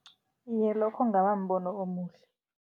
Iye, lokho kungaba mbono omuhle.